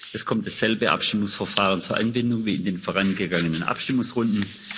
Es kommt dasselbe Abstimmungsverfahren zur Anwendung wie in den vorangegangenen Abstimmungsrunden.